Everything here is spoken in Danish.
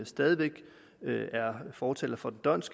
stadig væk fortalere for dhondts